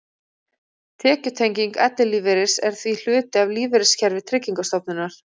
Tekjutenging ellilífeyris er því hluti af lífeyriskerfi Tryggingarstofnunar.